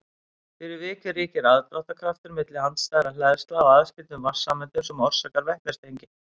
fyrir vikið ríkir aðdráttarkraftur milli andstæðra hleðslna á aðskildum vatnssameindum sem orsakar vetnistengi